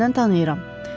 Səsindən tanıyıram.